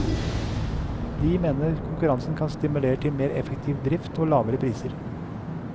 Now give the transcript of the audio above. De mener konkurransen kan stimulere til mer effektiv drift og lavere priser.